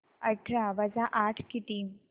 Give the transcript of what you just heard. अठरा वजा आठ किती